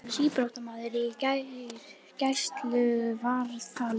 Síbrotamaður í gæsluvarðhaldi